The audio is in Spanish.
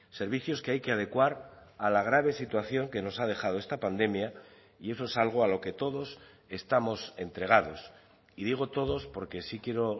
servicios que hay que adecuar a la grave situación que nos ha dejado esta pandemia y eso es algo a lo que todos estamos entregados y digo todos porque sí quiero